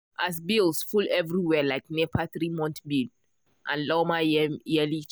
as bills full everywhere like nepa three-month bill and lawma yearly charge.